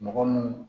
Mɔgɔ munnu